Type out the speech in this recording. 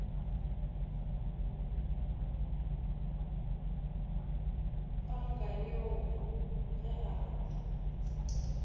panka yoo ge a rata